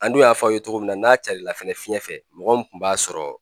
An dun y'a f'a ye cogo min na n'a cari la fɛnɛ fiɲɛ fɛ mɔgɔ mun kun b'a sɔrɔ